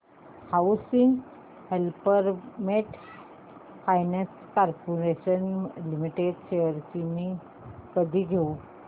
housing development finance corporation limited shares मी कधी घेऊ